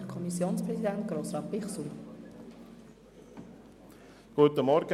Kommissionspräsident der FiKo.